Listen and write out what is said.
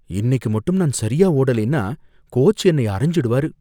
இன்னைக்கு மட்டும் நான் சரியா ஓடலைன்னா கோச் என்னை அறைஞ்சிடுவாரு.